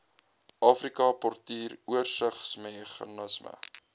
afrika portuur oorsigsmeganisme